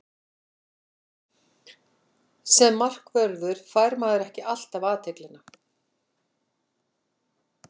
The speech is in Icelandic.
Sem markvörður fær maður ekki alltaf athyglina.